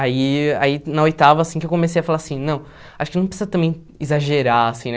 Aí aí, na oitava, assim, que eu comecei a falar assim, não, acho que não precisa também exagerar, assim, né?